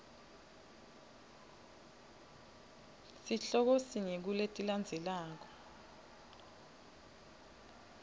sihloko sinye kuletilandzelako